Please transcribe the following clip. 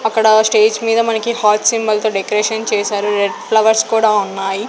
అక్కడ స్టేజ్ మీద మనకి హార్ట్ సింబల్ తో డెకరేషన్ చేశారు రెడ్ ఫ్లవర్స్ కూడా ఉన్నాయి.